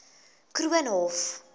koornhof